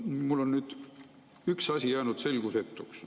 Mulle on üks asi jäänud selgusetuks.